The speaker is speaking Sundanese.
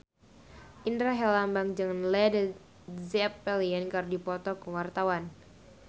Indra Herlambang jeung Led Zeppelin keur dipoto ku wartawan